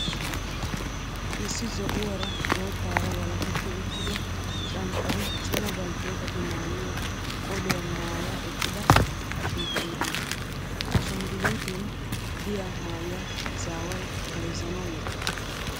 Issi zo"uwaara boottaara walaketti uttido canccare cima baltteetati maayyiyoo qoliyaa maaya eqqida ashngguluutiyoo. Ha ashangguluuten diyaa maayyuwaa ezaawayi bayizzanawu wottis.